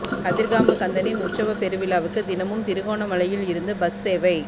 கதிர்காமக் கந்தனின் உற்சவப் பெருவிழாவுக்கு தினமும் திருகோணமலையில் இருந்து பஸ் சேவை